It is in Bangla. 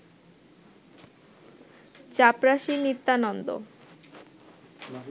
চাপরাশী নিত্যানন্দ